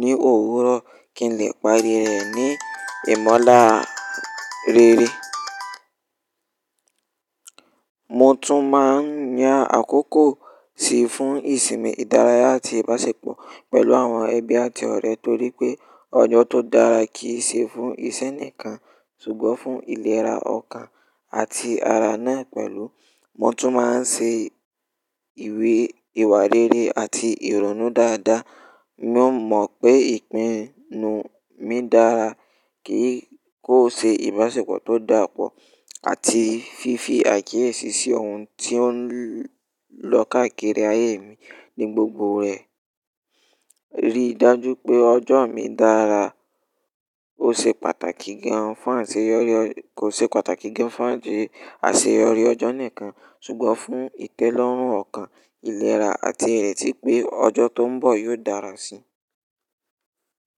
ní òwúrọ̀ kí n lè parí rẹ̀ ní ìmọ̀lá rere. Mo tún máa ń ya àkókò sí fún ìsinmi, ìdárayá àti ìbáṣepọ̀ pẹ̀lú àwọn ẹbí àti ọ̀rẹ́ torí pé ọjọ́ tó dára kì í ṣe fún iṣẹ́ nìkan ṣùgbọ́n fún ìlera ọkàn àti ara náà pẹ̀lú. Mo tún máa ń ṣe ìwé ìwà rere àti ìrònú dáadáa. Mo mọ̀ pé ìpinnu mi dára kì í kó ṣe ìbáṣepọ̀ tó dàpọ̀ àti fífi àkíyèsí sí ohun tí ó ń lọ káàkiri ayé mi ní gbogbo rẹ̀. Rí dájú pé ọjọ́ mi dára ò ṣe pàtàkì gan fún àṣeyọrí ọjọ́ nìkan ṣùgbọ́n fún ìtẹ́lọ́rùn ọkàn, ìlera àti ẹ̀tí pé ọjọ́ tó ń bọ̀ yóò dára síi.